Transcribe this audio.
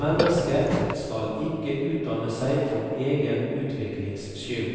Mennesket skal ikke utdanne seg for egen utviklings skyld,